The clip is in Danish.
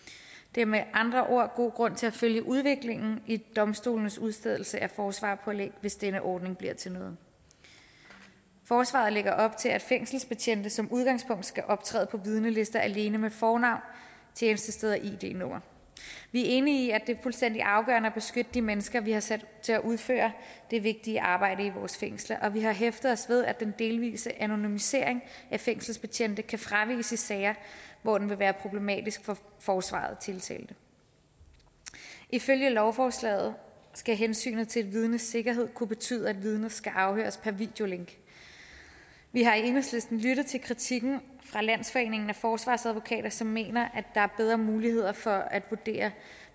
er med andre ord god grund til at følge udviklingen i domstolenes udstedelse af forsvarerpålæg hvis denne ordning bliver til noget forslaget lægger op til at fængselsbetjente som udgangspunkt skal optræde på vidnelister alene med fornavn tjenestested og id nummer vi er enige i at det er fuldstændig afgørende at beskytte de mennesker vi har sat til at udføre det vigtige arbejde i vores fængsler og vi har hæftet os ved at den delvise anonymisering af fængselsbetjente kan fraviges i sager hvor den vil være problematisk for forsvaret af tiltalte ifølge lovforslaget skal hensynet til et vidnes sikkerhed kunne betyde at vidnet skal afhøres per videolink vi har i enhedslisten lyttet til kritikken fra landsforeningen af forsvarsadvokater som mener at der er bedre muligheder for at vurdere